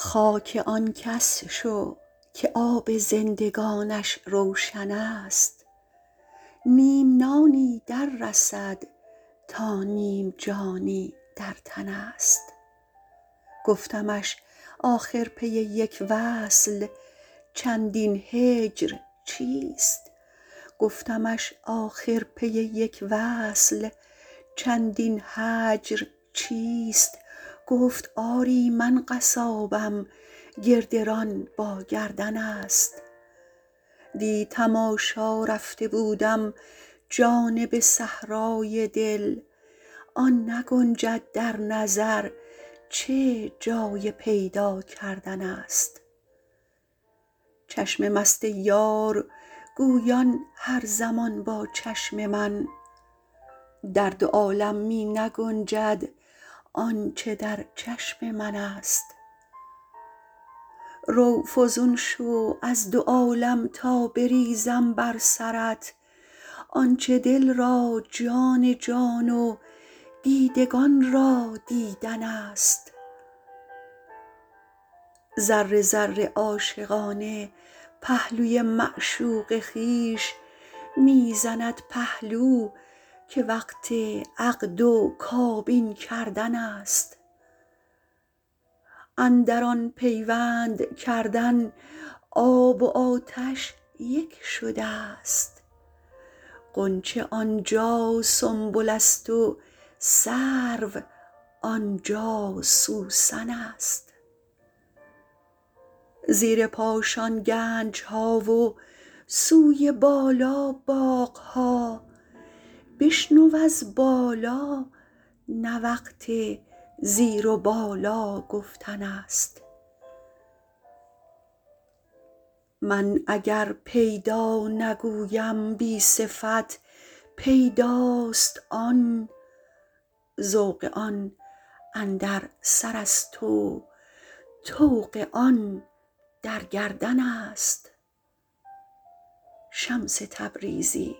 خاک آن کس شو که آب زندگانش روشنست نیم نانی دررسد تا نیم جانی در تنست گفتمش آخر پی یک وصل چندین هجر چیست گفت آری من قصابم گردران با گردنست دی تماشا رفته بودم جانب صحرای دل آن نگنجد در نظر چه جای پیدا کردنست چشم مست یار گویان هر زمان با چشم من در دو عالم می نگنجد آنچ در چشم منست رو فزون شو از دو عالم تا بریزم بر سرت آنچ دل را جان جان و دیدگان را دیدنست ذره ذره عاشقانه پهلوی معشوق خویش می زند پهلو که وقت عقد و کابین کردنست اندر آن پیوند کردن آب و آتش یک شده ست غنچه آن جا سنبلست و سرو آن جا سوسنست زیر پاشان گنج ها و سوی بالا باغ ها بشنو از بالا نه وقت زیر و بالا گفتنست من اگر پیدا نگویم بی صفت پیداست آن ذوق آن اندر سرست و طوق آن در گردنست شمس تبریزی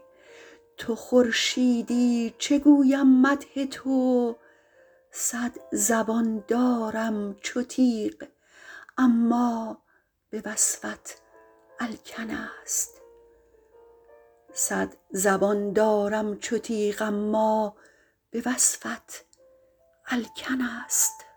تو خورشیدی چه گویم مدح تو صد زبان دارم چو تیغ اما به وصفت الکنست